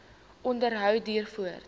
onderhou duur voort